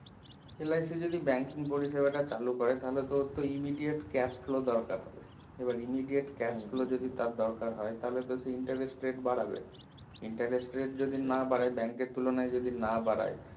LIC যদি banking পরিষেবা টা চালু করে তাহলে তো ওর তো immediate cash flow দরকার এবার immediate cash flow যদি তা দরকার হয় তাহলে তো interest rate বাড়াবে interest rate যদি না বাড়ায় bank এর তুলনায় যদি না বাড়ায়